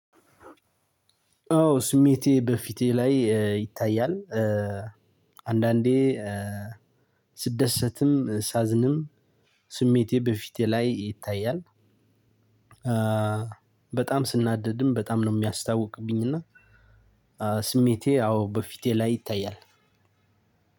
አው ስሜቴ በፊቴ ላይ ይታያል። አንዳንዴ ስደሰትም ሳዝንም ስሜቴ በፊቴ ላይ ይታያል። በጣም ስናደድም በጣም ነው የሚያስታውቅብኝ። እና ስሜቴ አዎ በፊቴ ላይ ይታያል።